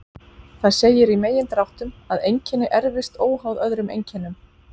Það segir í megindráttum að einkenni erfist óháð öðrum einkennum.